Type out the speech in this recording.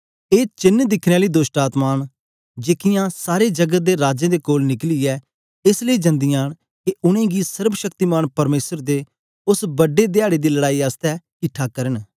ए चेन्न दिखने आली दोष्टआत्मायें न जेकीयां सारे जगत दे राजें दे कोल निकलियै एस लेई जंदियां न के उनेंगी सर्वशक्तिमान परमेसर दे उस्स बड्डे धयारे दी लड़ाई आसतै किटठा करन